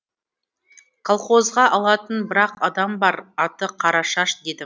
колхозға алатын бір ақ адам бар аты қарашаш дедім